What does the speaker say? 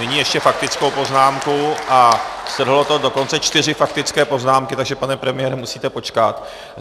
Nyní ještě faktickou poznámku a strhlo to dokonce čtyři faktické poznámky, takže pane premiére, musíte počkat.